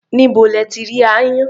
Níbo lẹ ti rí aáyán?